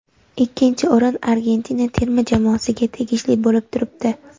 Ikkinchi o‘rin Argentina terma jamoasiga tegishli bo‘lib turibdi.